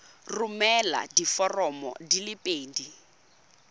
romela diforomo di le pedi